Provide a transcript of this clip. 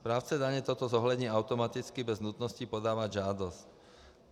Správce daně toto zohlední automaticky bez nutnosti podávat žádost.